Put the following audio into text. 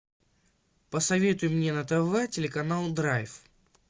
посоветуй мне на тв телеканал драйв